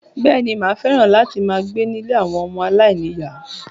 Bẹ́ẹ̀ni, Maa fẹ́ràn láti máa gbé nílé àwọn ọmọ aláìníyàá.